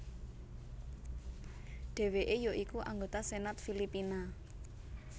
Dheweke ya iku anggota Senat Filipina